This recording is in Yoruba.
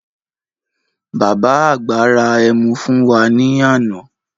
Bàbá àgbà ra ẹmu fún wá ní àna